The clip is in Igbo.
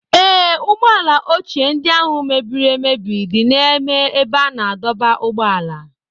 Ee, ụgbọala ochie ndị áhù mebiri emebi dị n'ime ébé a na-adọba ụgbọala